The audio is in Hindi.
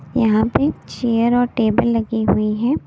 यहाँ पे चेयर और टेबल लगी हुई है।